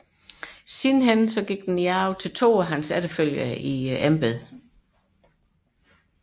Den gik siden i arv til to af hans efterfølgere i embedet